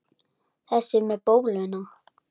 Þessi með bóluna?